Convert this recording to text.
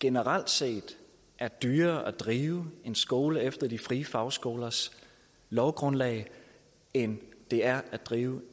generelt set er dyrere at drive en skole efter de frie fagskolers lovgrundlag end det er at drive